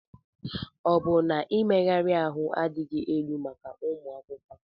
Ọ bụ na ịmagharị ahụ adịghị elu maka ụmụ akwụkwọ?